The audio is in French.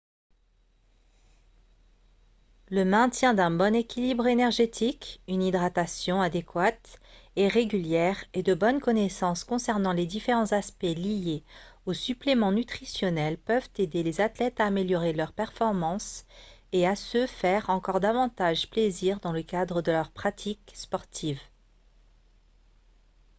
le maintien d'un bon équilibre énergétique une hydratation adéquate et régulière et de bonnes connaissances concernant les différents aspects liés aux suppléments nutritionnels peuvent aider les athlètes à améliorer leurs performances et à se faire encore davantage plaisir dans le cadre de leur pratique sportive